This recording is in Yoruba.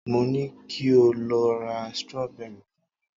mo ni kio lo ra strawberry fún mi